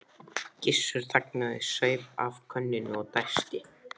Gissur þagnaði, saup af könnunni og dæsti.